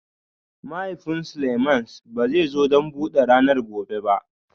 Mahaifin Seleimans ba zai zo don buɗe ranar gobe ba